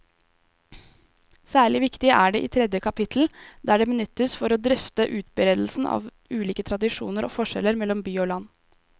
Særlig viktig er det i tredje kapittel, der det benyttes for å drøfte utbredelsen av ulike tradisjoner og forskjeller mellom by og land.